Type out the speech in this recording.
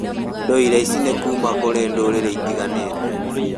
Ndũire ici nĩ kuuma kũrĩ ndũrĩrĩ itiganĩte.